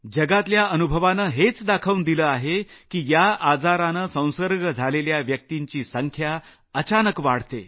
जगातल्या अनुभवानं हेच दाखवून दिलं आहे की या आजारानं संसर्ग झालेल्या व्यक्तिंची संख्या अचानक वाढते